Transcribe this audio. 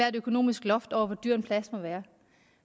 et økonomisk loft over hvor dyr en plads må være